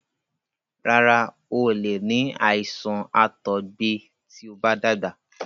Rárá, o ò lè ní àìsàn àtọgbẹ tí o bá dàgbà.